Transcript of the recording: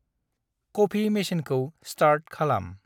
Coffee मेसिनखौ start खालाम।